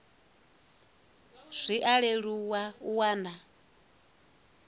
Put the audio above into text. zwi a leluwa u wana